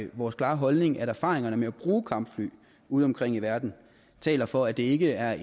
vores klare holdning at erfaringerne med at bruge kampfly udeomkring i verden taler for at det ikke er